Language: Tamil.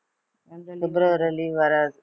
பிப்ரவரி leave வராது